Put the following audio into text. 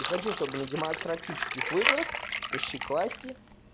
и хочу чтобы на демократических выборах пришли к власти